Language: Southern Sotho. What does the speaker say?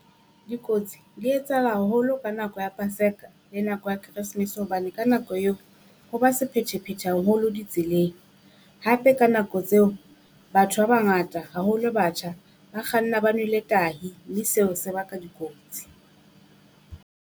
Dikotsi di etsahala haholo ka nako ya Paseka le nako ya Keresemese hobane ka nako eo, ho ba sephethephethe haholo di tseleng. Hape ka nako tseo batho ba ba ngata haholo, batjha ba kganna ba nwele tahi, mme seo se baka dikotsi.